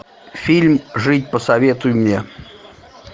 фильм жить посоветуй мне